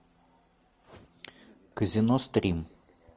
казино стрим